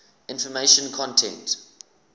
information content